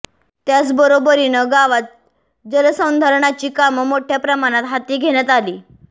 त्याचबरोबरीनं गावात जलसंधारणाची कामं मोठ्या प्रमाणात हाती घेण्यात आली